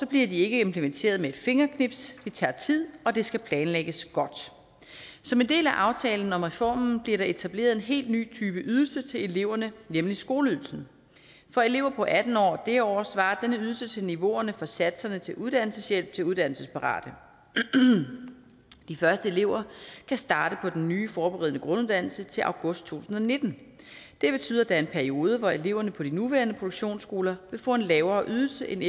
bliver de ikke implementeret med et fingerknips det tager tid og det skal planlægges godt som en del af aftalen om reformen bliver der etableret en helt ny type ydelse til eleverne nemlig skoleydelsen for elever på atten år og derover svarer denne ydelse til niveauerne for satserne til uddannelseshjælp til uddannelsesparate de første elever kan starte på den nye forberedende grunduddannelse til august to tusind og nitten det betyder at der er en periode hvor eleverne på de nuværende produktionsskoler vil få en lavere ydelse end